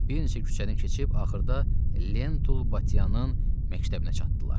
Bir neçə küçəni keçib axırda Lentul Batyanın məktəbinə çatdılar.